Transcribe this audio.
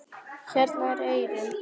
Hérna er eyrin.